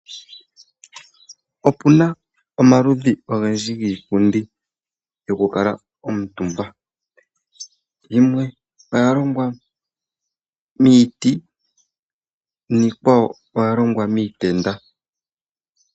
Opuna omaludhi ogendji giipundi yokukala omutumba, yimwe oya longwa miiti niikwawo oya longwa miitenda.